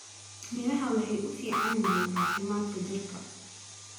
Miraha waxay u fiican yihiin caafimaadka jidhka.